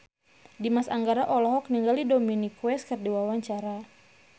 Dimas Anggara olohok ningali Dominic West keur diwawancara